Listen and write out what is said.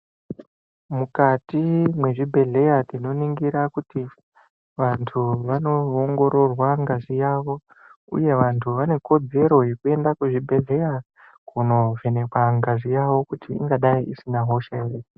Mukati mwezvibhehleya tinoningira kuti vantu vanoongororwa ngazi yavo uye vantu vane kodzero yekuenda kuzvibhedhleya kunovhenekwa ngazi yavo kuti ingadai isina hosha ere.